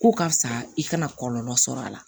Ko karisa i kana kɔlɔlɔ sɔrɔ a la